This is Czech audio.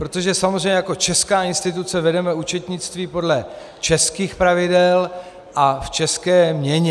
Protože samozřejmě jako česká instituce vedeme účetnictví podle českých pravidel a v české měně.